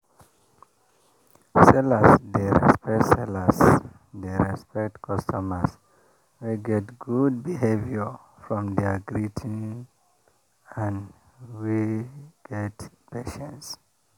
my papa dey greet loud make people know say e don show before e price meat.